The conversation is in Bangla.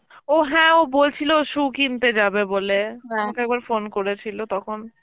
ও হ্যাঁ ও বলছিল shoe কিনতে যাবে বলে আমাকে একবার phone করেছিল তখন.